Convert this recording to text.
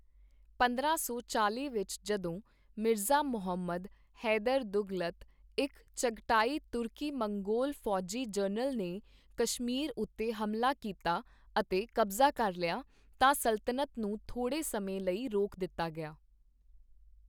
ਪੰਦਰਾਂ ਸੌ ਚਾਲ਼ੀ ਵਿੱਚ ਜਦੋਂ ਮਿਰਜ਼ਾ ਮੁਹੰਮਦ ਹੈਦਰ ਦੁਗ਼ਲਤ, ਇੱਕ ਚਗਟਾਈ ਤੁਰਕੀ ਮੰਗੋਲ ਫੌਜੀ ਜਨਰਲ ਨੇ ਕਸ਼ਮੀਰ ਉੱਤੇ ਹਮਲਾ ਕੀਤਾ ਅਤੇ ਕਬਜ਼ਾ ਕਰ ਲਿਆ, ਤਾਂ ਸਲਤਨਤ ਨੂੰ ਥੋੜ੍ਹੇ ਸਮੇਂ ਲਈ ਰੋਕ ਦਿੱਤਾ ਗਿਆ।